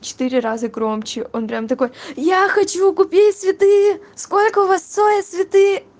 четыре раза громче он прям такой я хочу купить цветы сколько у вас стоят цветы